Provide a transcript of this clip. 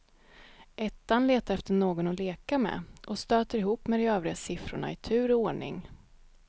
Ettan letar efter någon att leka med och stöter ihop med de övriga siffrorna i tur och ordning.